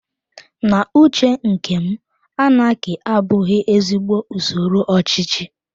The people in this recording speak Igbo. N'uche nkem, anaki abụghị ezigbo usoro ochichi